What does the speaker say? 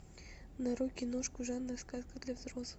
нарой киношку жанра сказка для взрослых